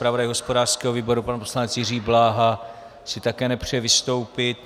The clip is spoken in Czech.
Zpravodaj hospodářského výboru pan poslanec Jiří Bláha - si také nepřeje vystoupit.